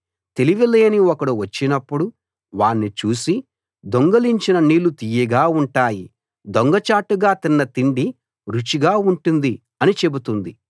తెలివి లేని ఒకడు వచ్చినప్పుడు వాణ్ణి చూసి దొంగిలించిన నీళ్లు తియ్యగా ఉంటాయి దొంగచాటుగా తిన్న తిండి రుచిగా ఉంటుంది అని చెబుతుంది